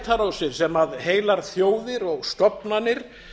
það eru netárásir sem heilar þjóðir og stofnanir